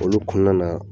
Olu kɔnɔna na